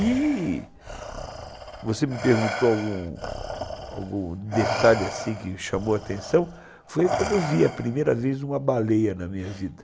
E você me perguntou algum detalhe que chamou a atenção, foi quando eu vi a primeira vez uma baleia na minha vida.